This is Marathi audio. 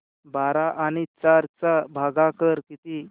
बारा आणि चार चा भागाकर किती